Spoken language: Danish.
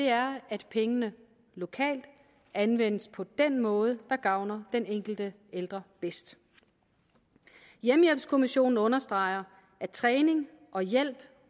er at pengene lokalt anvendes på den måde der gavner den enkelte ældre bedst hjemmehjælpskommissionen understreger at træning og hjælp